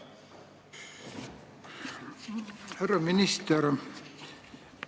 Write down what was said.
Härra minister!